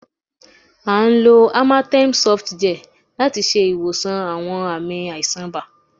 À ń lò amatem sof gel láti ṣe ìwòsàn àwọn ààmì àìsàn ibà